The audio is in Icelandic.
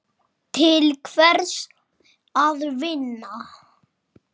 Til hvers að vinna?